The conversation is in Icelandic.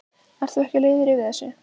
Ert þú ekki leiður yfir þessu?